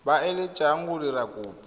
ba eletsang go dira kopo